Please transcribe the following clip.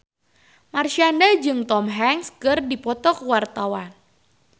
Marshanda jeung Tom Hanks keur dipoto ku wartawan